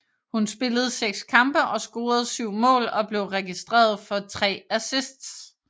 Hun spillede 6 kampe og scorede 7 mål og blev registreret for 3 assists